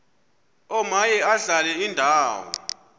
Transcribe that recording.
omaye adlale indawo